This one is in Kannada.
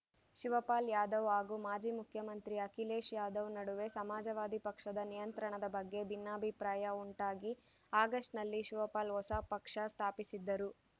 ಶಿವಪಾಲ್‌ ಯಾದವ್‌ ಹಾಗು ಮಾಜಿ ಮುಖ್ಯಮಂತ್ರಿ ಅಖಿಲೇಶ್‌ ಯಾದವ್‌ ನಡುವೆ ಸಮಾಜವಾದಿ ಪಕ್ಷದ ನಿಯಂತ್ರಣದ ಬಗ್ಗೆ ಭಿನ್ನಾಭಿಪ್ರಾಯ ಉಂಟಾಗಿ ಆಗಸ್ಟ್‌ನಲ್ಲಿ ಶಿವಪಾಲ್‌ ಹೊಸ ಪಕ್ಷ ಸ್ಥಾಪಿಸಿದ್ದರು